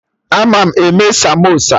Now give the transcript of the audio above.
Ama m eme samosa